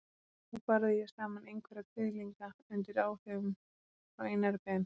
Þá barði ég saman einhverja kviðlinga undir áhrifum frá Einari Ben.